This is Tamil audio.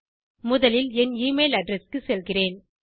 முதலில் என் எமெயில் அட்ரெஸ் க்குச் செல்கிறேன்